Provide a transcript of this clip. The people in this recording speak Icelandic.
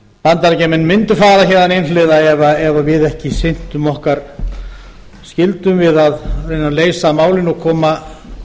bandaríkjamenn mundu fara héðan einhliða ef við sinntum ekki skyldum okkar við að reyna að leysa málin og koma samningum